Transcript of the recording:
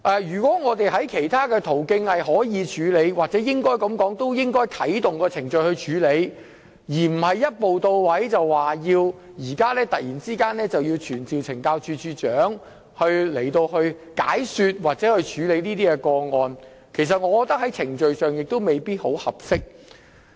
如果我們可以循其他途徑處理，又或應該先啟動程序作出處理，那便不應一步到位，突然傳召懲教署署長前來解說或處理有關個案，這在程序上亦未必合適。